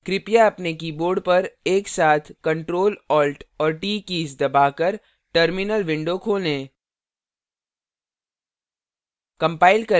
कृपया अपने keyboard पर एक साथ ctrl alt और t कीज़ दबाकर terminal window खोलें